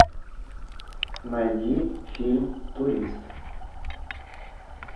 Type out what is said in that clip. найди фильм турист